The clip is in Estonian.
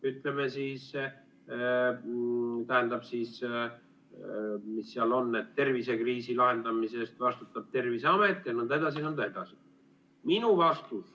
Ütleme siis nii, et tervisekriisi lahendamise eest vastutab Terviseamet jne, jne.